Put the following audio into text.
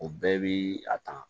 O bɛɛ bi a ta